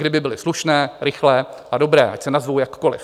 Kdyby byly slušné, rychlé a dobré, ať se nazvou jakkoli.